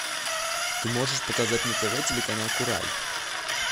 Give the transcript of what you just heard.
ты можешь показать на тв телеканал курай